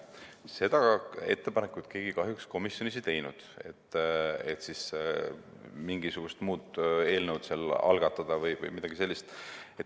Seda ettepanekut keegi kahjuks komisjonis ei teinud, et mingisugust muud eelnõu algatada või midagi sellist.